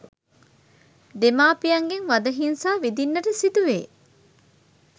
දෙමාපියන්ගෙන් වදහිංසා විඳින්නට සිදුවේ